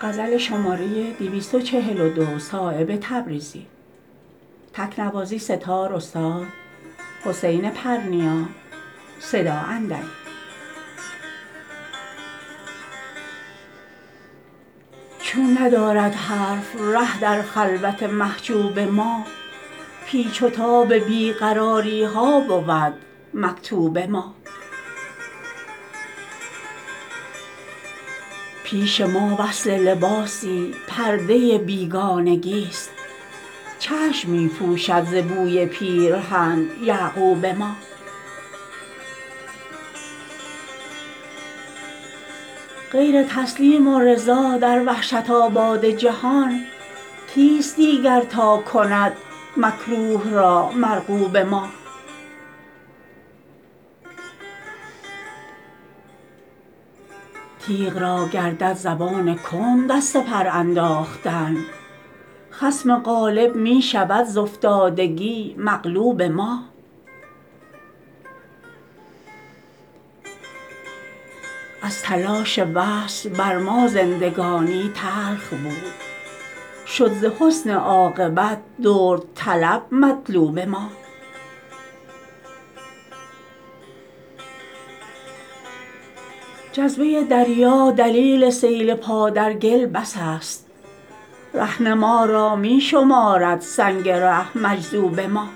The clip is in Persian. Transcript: چون ندارد حرف ره در خلوت محجوب ما پیچ و تاب بی قراری ها بود مکتوب ما پیش ما وصل لباسی پرده بیگانگی است چشم می پوشد ز بوی پیرهن یعقوب ما غیر تسلیم و رضا در وحشت آباد جهان کیست دیگر تا کند مکروه را مرغوب ما تیغ را گردد زبان کند از سپر انداختن خصم غالب می شود ز افتادگی مغلوب ما از تلاش وصل بر ما زندگانی تلخ بود شد ز حسن عاقبت درد طلب مطلوب ما جذبه دریا دلیل سیل پا در گل بس است رهنما را می شمارد سنگ ره مجذوب ما